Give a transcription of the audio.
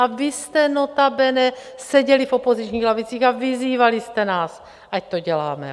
A vy jste notabene seděli v opozičních lavicích a vyzývali jste nás, ať to děláme.